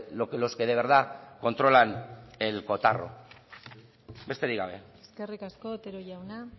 lo que los que de verdad controlan en cotarro besterik gabe eskerrik asko otero jauna